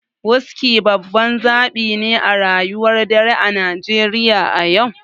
Wuski babban zabi ne a rayuwar dare a Najeriya a yau.